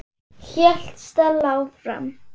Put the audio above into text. hélt Stella áfram.